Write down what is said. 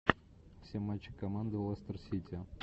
все матчи команды лестер сити